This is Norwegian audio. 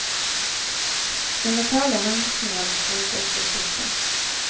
Den mentale helsen hans begynte også å svikte.